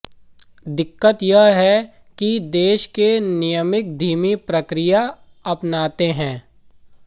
दिक्कत यह है कि देश के नियामक धीमी प्रक्रिया अपनाते हैं